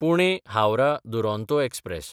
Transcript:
Pune-Howrah Duronto express